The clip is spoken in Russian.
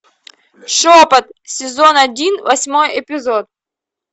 шепот сезон один восьмой эпизод